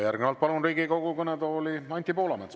Järgnevalt palun Riigikogu kõnetooli Anti Poolametsa.